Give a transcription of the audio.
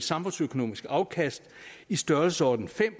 samfundsøkonomisk afkast i størrelsesordenen fem